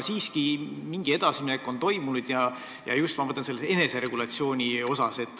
Samas mingi edasiminek on toimunud ja seda just eneseregulatsiooni osas.